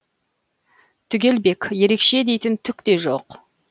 түгелбек ерекше дейтін түк те жоқ